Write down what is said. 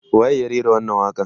waye ya rera wannan waƙa n